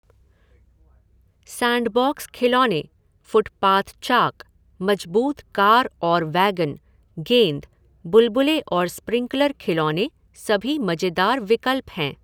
Sandbox खिलौने, footpath chalk, मजबूत car और वैगन, गेंद, बुलबुले और स्प्रिंकलर खिलौने सभी मजेदार विकल्प हैं।